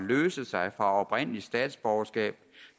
løse sig fra oprindeligt statsborgerskab